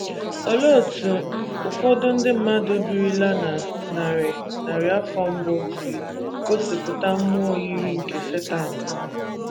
Olee otú ụfọdụ ndị mmadụ birila na narị narị afọ mbụ si gosipụta mmụọ yiri nke Setan?